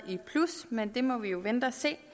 men det må vi jo vente og se